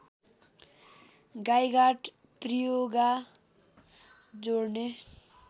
गाइघाट त्रियुगा जोडने